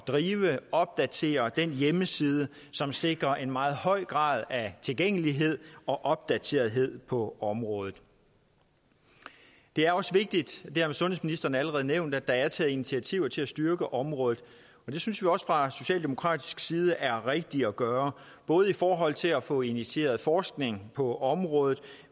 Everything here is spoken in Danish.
drive og opdatere den hjemmeside som sikrer en meget høj grad af tilgængelighed og opdaterethed på området det er også vigtigt og det har sundhedsministeren allerede nævnt at der er taget initiativer til at styrke området det synes vi også fra socialdemokratisk side er rigtigt at gøre både i forhold til at få initieret forskning på området